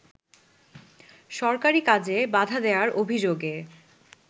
সরকারি কাজে বাধা দেয়ার অভিযোগে